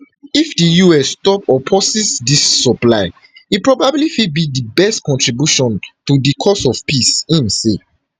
if di us stop or pauses dis supplies e probably fit be di best contribution to di cause of peace im say